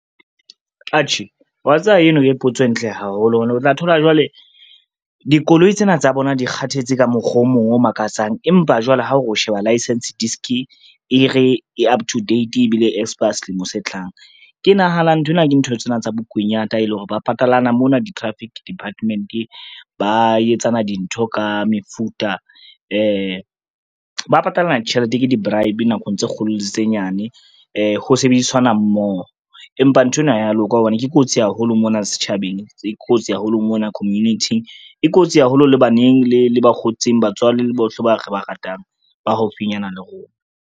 Atjhe wa tseba eno ke potso e ntle haholo hobane o tla thola jwale, dikoloi tsena tsa bona di kgathetse ka mokgwa o mong o makatsang, empa jwale ha o sheba license disc e re e up to date ebile e expire selemo se tlang. Ke nahana nthwena ke ntho tsena tsa bokunyata e le hore ba patalana mona di-traffic department, ba etsana dintho ka mefuta ba patalana tjhelete ke di-bribe nakong tse kgolo tse nyane ho sebedisanwa mmoho. Empa nthwena ha ya loka hobane ke kotsi haholo mona setjhabeng, e kotsi haholo mona community, e kotsi haholo le baneng le bakgotsing, batswading le bohle ba re ba ratang ba haufinyana le rona.